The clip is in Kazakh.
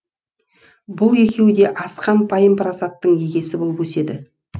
бұл екеуі де асқан пайым парасаттың егесі болып өседі